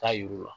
Taa yir'u la